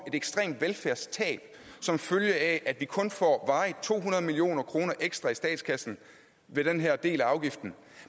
ekstremt velfærdstab som følge af at vi kun får varigt to hundrede million kroner ekstra i statskassen via den her del af afgiften